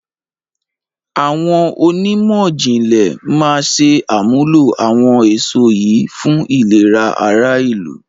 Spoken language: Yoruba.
Àwọn onímọ̀jìnlẹ̀ máa ṣe àmúlò àwọn èso yìí fún ìlera ara ìlú